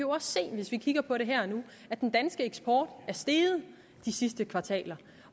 også se hvis vi kigger på det her og nu at den danske eksport er steget de sidste kvartaler